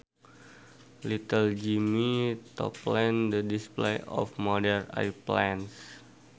Little Jimmie toppled the display of model airplanes